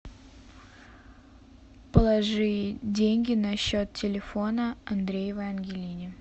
положи деньги на счет телефона андреевой ангелине